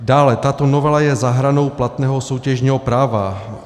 Dále tato novela je za hranou platného soutěžního práva.